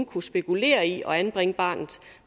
kunne spekulere i at anbringe barnet